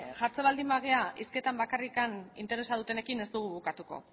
jartzen baldin bagara hizketan bakarrik interesa dutenekin ez dugu bukatuko